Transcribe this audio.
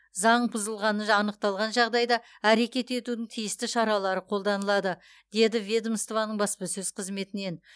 заң бұзылғаны анықталған жағдайда әрекет етудің тиісті шаралары қолданылады деді ведомствоның баспасөз қызметінен